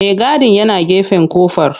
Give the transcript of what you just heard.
Maigadin yana gefen kofar.